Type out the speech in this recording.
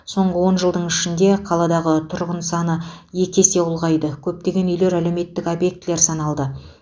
соңғы он жылдың ішінде қаладағы тұрғын саны екі есе ұлғайды көптеген үйлер әлеуметтік объектілер саналды